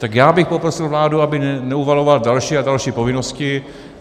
Tak já bych poprosil vládu, aby neuvalovala další a další povinnosti.